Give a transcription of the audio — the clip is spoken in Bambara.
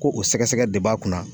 Ko o sɛgɛsɛgɛ de b'a kunna